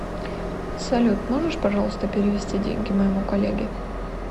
салют можешь пожалуйста перевести деньги моему коллеге